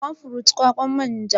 Palm fruit=kwakwan manja